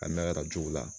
A mɛkarajow la